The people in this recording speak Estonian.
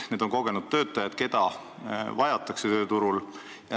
Need on kogenud töötajad, keda vajatakse tööturul.